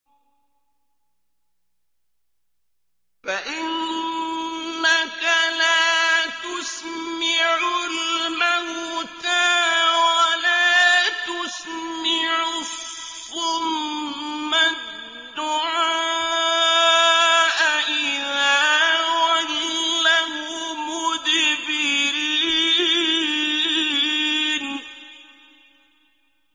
فَإِنَّكَ لَا تُسْمِعُ الْمَوْتَىٰ وَلَا تُسْمِعُ الصُّمَّ الدُّعَاءَ إِذَا وَلَّوْا مُدْبِرِينَ